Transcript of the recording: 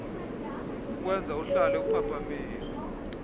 kukwenza uhlale uphaphamile